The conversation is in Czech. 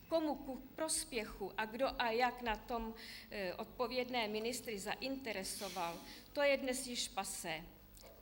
Komu ku prospěchu a kdo a jak na tom odpovědné ministry zainteresoval, to je dnes již passé.